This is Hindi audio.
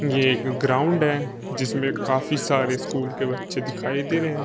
यह एक ग्राउंड है जिसमें काफी सारे स्कूल के बच्चे दिखाई दे रहे हैं।